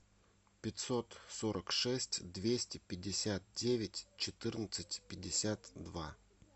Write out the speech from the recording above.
пятьсот сорок шесть двести пятьдесят девять четырнадцать пятьдесят два